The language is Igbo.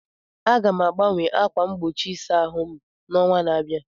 Aga m agbanwe ákwà mgbochi ịsa ahụ m n'ọnwa na-abịa.